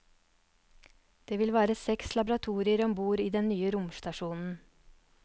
Det vil være seks laboratorier om bord i den nye romstasjonen.